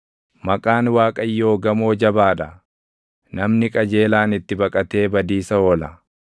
Maqaan Waaqayyoo gamoo jabaa dha; namni qajeelaan itti baqatee badiisa oola.